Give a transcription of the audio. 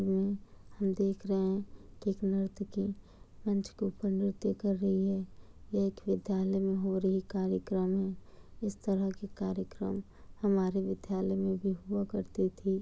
यह हम देख रहे हैं की एक नृत्य की मंच के ऊपर नृत्य कर रही है। यह एक विद्यालय में हो रही कार्यक्रम इस तरह की कार्यक्रम हमारे विद्यालय में भी हुआ करती थी।